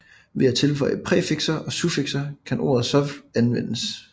Ved at tilføje præfikser og suffikser kan ordet så anvendes